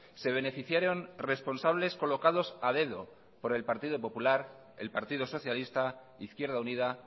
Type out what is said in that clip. se beneficiaron responsables colocados a dedo por el partido popular el partido socialista izquierda unida